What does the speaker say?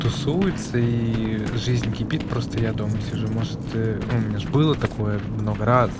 тусуются и жизнь кипит просто я дома сижу может ну у меня ж было такое много раз